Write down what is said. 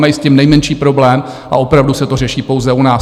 Nemají s tím nejmenší problém a opravdu se to řeší pouze u nás.